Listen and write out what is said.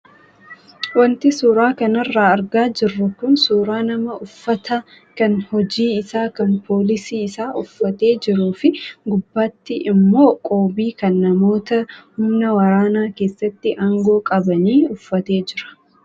Wanti suuraa kanarraa argaa jirru kun suuraa nama uffata kan hojii isaa kan poolisii isaa uffate jiruu fi gubbaatti immoo qoobii kan namoota humna waraanaa keessatti aangoo qabanii uffatee jira.